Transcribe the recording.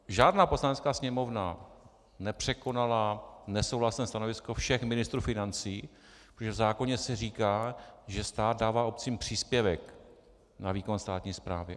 Žádná poslanecká sněmovna nepřekonala nesouhlasné stanovisko všech ministrů financí, protože v zákoně se říká, že stát dává obcím příspěvek na výkon státní správy.